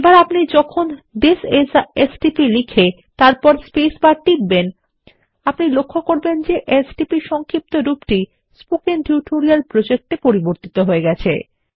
এখন আপনি যখনি থিস আইএস a এসটিপি লিখে তারপর স্পেসবার টিপবেন আপনি লক্ষ্য করবেন যে এসটিপি এর সংক্ষেপরূপটি স্পোকেন টিউটোরিয়াল প্রজেক্ট এ পরিবর্তিত হয়ে যাচ্ছে